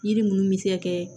Yiri munnu be se ka kɛ